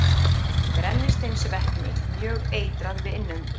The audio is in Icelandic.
Brennisteinsvetni- Mjög eitrað við innöndun.